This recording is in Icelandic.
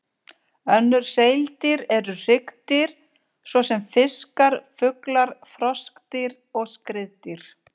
Önnur seildýr eru hryggdýr, svo sem fiskar, fuglar, froskdýr og skriðdýr.